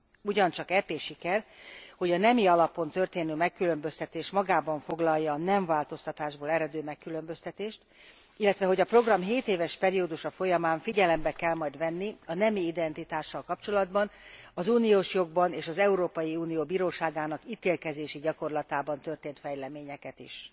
Ugyancsak EP siker, hogy a nemi alapon történő megkülönböztetés magában foglalja a nemváltoztatásból eredő megkülönböztetést, illetve hogy a program hétéves periódusa folyamán figyelembe kell majd venni a nemi identitással kapcsolatban az uniós jogban és az Európai Unió Bíróságának ítélkezési gyakorlatában történt fejleményeket is.